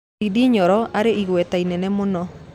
Ndĩndĩ Nyoro arĩ na igweta inene muno